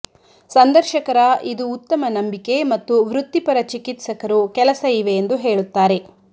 ಸಂದರ್ಶಕರ ಇದು ಉತ್ತಮ ನಂಬಿಕೆ ಮತ್ತು ವೃತ್ತಿಪರ ಚಿಕಿತ್ಸಕರು ಕೆಲಸ ಇವೆ ಎಂದು ಹೇಳುತ್ತಾರೆ